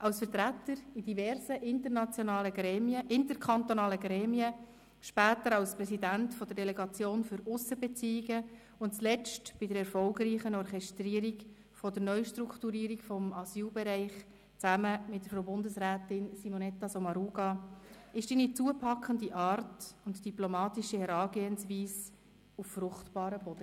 Als Vertreter in diversen interkantonalen Gremien, später als Präsident der Delegation für Aussenbeziehungen und zuletzt bei der erfolgreichen Orchestrierung der Neustrukturierung des Asylbereichs zusammen mit Bundesrätin Sommaruga fiel deine zupackende Art und deine diplomatische Herangehensweise auf fruchtbaren Boden.